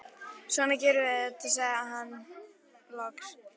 Svona gerum við þetta, sagði hann loks.